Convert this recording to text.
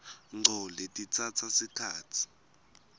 ngco letitsatsa sikhatsi